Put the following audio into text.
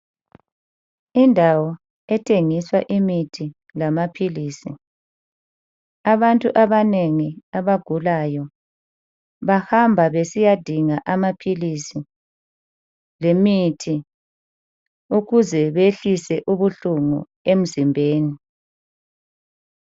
Indawo ethengiswa imithi lamaphilisi, abantu abanengi abagulayo bahamba besiya dinga amaphilisi lemithi ukuze behlise ubuhlungu emzimbeni.